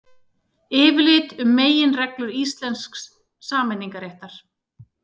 Yfirlit um meginreglur íslensks samningaréttar.